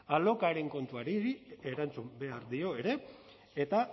alokairuaren kontuari erantzun behar dio ere eta